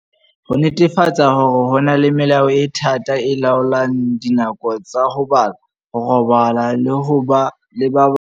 Ho netefatsa hore ho na le melao e thata e laolang dinako tsa ho bala, ho robala le ho ba le ba bang.